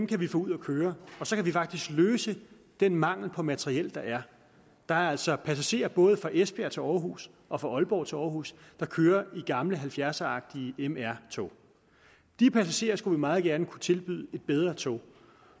kan vi få ud at køre og så kan vi faktisk løse den mangel på materiel der er der er altså passagerer både fra esbjerg til aarhus og fra aalborg til aarhus der kører i gamle halvfjerdseragtige mr tog de passagerer skulle vi meget gerne kunne tilbyde et bedre tog